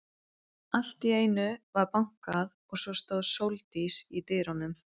Allt í einu var bankað og svo stóð Sóldís í dyrunum.